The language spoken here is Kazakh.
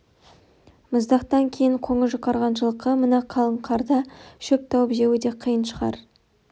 мұздақтан кейін қоңы жұқарған жылқы мына қалың қарда шөп тауып жеуі де қиын шығар